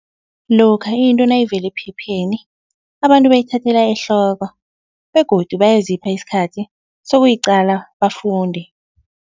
Lokha into nayivele ephepheni abantu bayithathela ehloko begodu bayazipha isikhathi sokuyicala bafunde.